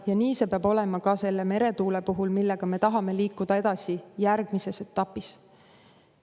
Ja nii see peab olema ka meretuule puhul, millega me tahame liikuda edasi järgmises etapis.